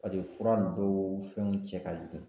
Paseke fura dɔw fɛnw cɛ ka jugu.